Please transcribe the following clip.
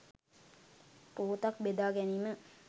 පුවතක් බෙදා ගැනීම